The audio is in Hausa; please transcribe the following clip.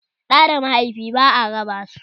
Da da mahaifi ba'a raba su